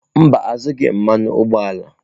Mba, azụghị m mmanụ ụgbọala.